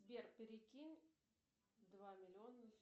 сбер перекинь два миллиона